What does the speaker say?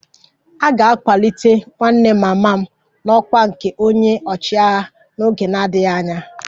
A ga-akwalite nwanne mama m n'ọkwá nke onye ọchịagha n'oge na-adịghị anya